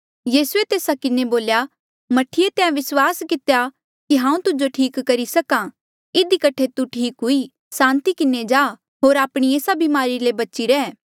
यीसूए तेस्सा किन्हें बोल्या मह्ठीऐ तैं विस्वास कितेया कि हांऊँ तुजो ठीक करी सक्हा इधी कठे तू ठीक हुई सांति किन्हें जा होर आपणी एस्सा ब्मारी ले बची रैह